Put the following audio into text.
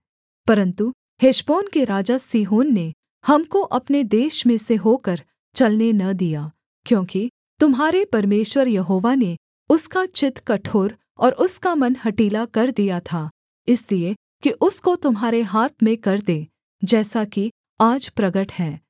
परन्तु हेशबोन के राजा सीहोन ने हमको अपने देश में से होकर चलने न दिया क्योंकि तुम्हारे परमेश्वर यहोवा ने उसका चित्त कठोर और उसका मन हठीला कर दिया था इसलिए कि उसको तुम्हारे हाथ में कर दे जैसा कि आज प्रगट है